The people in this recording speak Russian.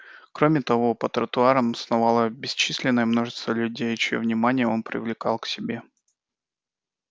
кроме того по тротуарам сновало бесчисленное множество людей чьё внимание он привлекал к себе